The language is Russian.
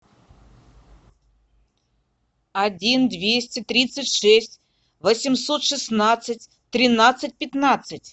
один двести тридцать шесть восемьсот шестнадцать тринадцать пятнадцать